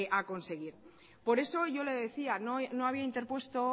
a conseguir por eso yo le decía que no había interpuesto